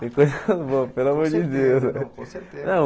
Tem coisas boas, pelo amor de Deus. Com certeza não com certeza